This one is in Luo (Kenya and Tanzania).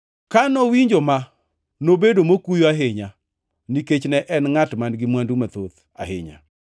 Ka nowinjo ma, nobedo mokuyo ahinya, nikech ne en ngʼat man-gi mwandu mathoth ahinya.